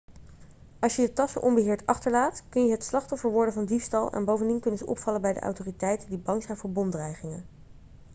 als je je tassen onbeheerd achterlaat kun je het slachtoffer worden van diefstal en bovendien kunnen ze opvallen bij de autoriteiten die bang zijn voor bomdreigingen